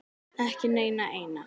Ekki neina eina.